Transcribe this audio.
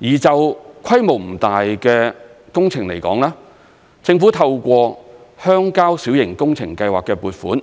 而就規模不大的工程來說，政府透過鄉郊小型工程計劃的撥款，